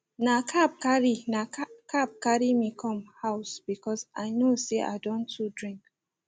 na cab carry na cab carry me come house because i know say i don too drink